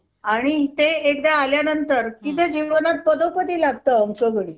अं mam अं stone तर चोवीस MM चा ये तर तो पात्र होईल ना मग?